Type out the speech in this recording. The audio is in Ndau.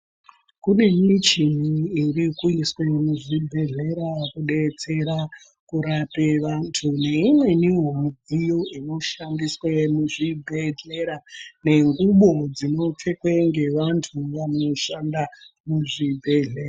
Kune michini iri kuiswe muzvibhedhlera kudetsera kurape vantu neimweniwo midziyo inoshandiswe muzvibhedhlera nenguwo dzinofekwe ngevantu vanoshanda muzvibhedhlera